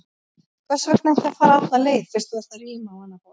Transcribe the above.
Hvers vegna ekki að fara alla leið, fyrst þú ert að ríma á annað borð?